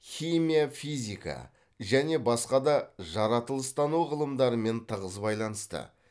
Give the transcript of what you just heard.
химия физика және басқа да жаратылыстану ғылымдарымен тығыз байланысты